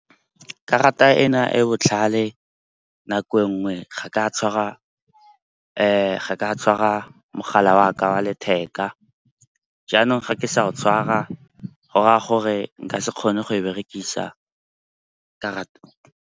Karata ena e e botlhale nako nngwe ga ka tshwara mogala waka wa letheka. Jaanong ga ke sa o tshwara, go raya gore nka se kgone go e berekisa karata.